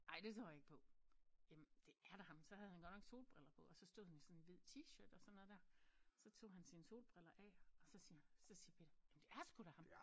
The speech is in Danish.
Ej det tror jeg ikke på jamen det er da ham så havde han godt nok solbriller på og så stod han i sådan en hvid t-shirt og sådan noget der så tog han sine solbriller af og så siger så siger Peter jamen det er sgu da ham